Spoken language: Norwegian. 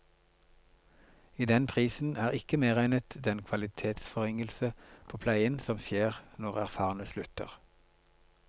I den prisen er ikke medregnet den kvalitetsforringelse på pleien som skjer når erfarne slutter.